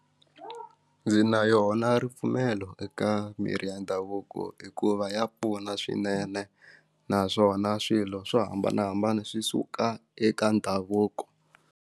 Ndzi na yona ripfumelo eka mirhi ya ndhavuko hikuva ya pfuna swinene naswona swilo swo hambanahambana swi suka eka ndhavuko.